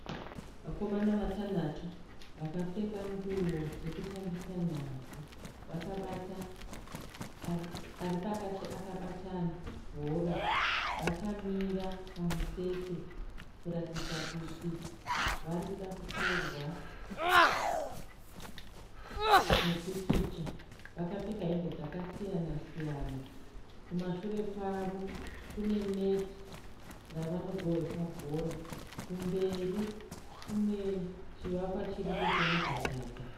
Vakomana vatanhatu vakapfeka nguwo dzokutambisa nhabvu. Ari pakati akabata bhora. Vakamira pamutsetse kuratidza kuti vari kuda kutorwa mupikicha. Vakapfeka hembe dzakasiyana siyana. Kumashure kwavo kune neti ravanogohwesa bhora. Kumberi kune chivakwa chiripo chemudhadhadha.